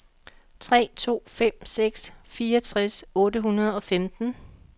tre to fem seks fireogtres otte hundrede og femten